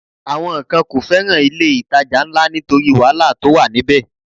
Àwọn kan kò fẹ́ràn ilé-ìtajà ńlá nítorí wàhálà tó wà níbẹ̀